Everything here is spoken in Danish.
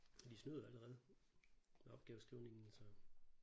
De snyder jo allerede med opgaveskrivningen så